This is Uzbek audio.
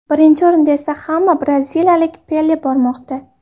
Birinchi o‘rinda esa ham braziliyalik Pele bormoqda.